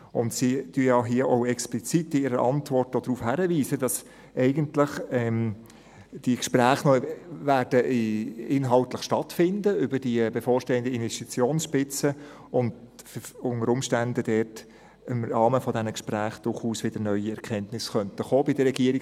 Sie weisen hier in ihrer Antwort ja auch explizit darauf hin, dass die Gespräche über die bevorstehenden Investitionsspitzen eigentlich inhaltlich noch stattfinden werden, und unter Umständen dort im Rahmen dieser Gespräche bei der Regierung durchaus wieder neue Erkenntnisse kommen könnten.